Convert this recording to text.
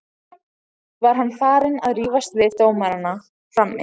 Var hann farinn að rífast við dómarana frammi?